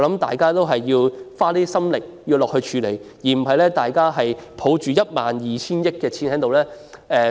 大家要多花一點心思和力量，不能只是抱着 12,000 億元的儲備。